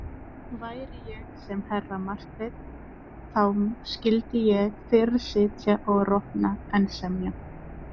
Væri ég sem herra Marteinn þá skyldi ég fyrr sitja og rotna en semja.